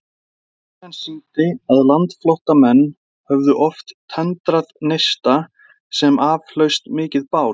Sagan sýndi, að landflótta menn höfðu oft tendrað neista, sem af hlaust mikið bál.